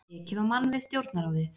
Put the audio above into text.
Ekið á mann við Stjórnarráðið